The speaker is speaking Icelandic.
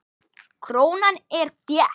Krónan er þétt.